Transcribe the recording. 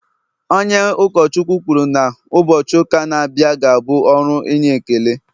onye ụkọchukwu kwuru na, ụbọchị ụka na-abịa ga-abụ ọrụ inye ekele